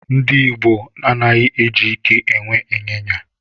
Ndị Igbo anaghị eji ike e nwe ịnyịnya.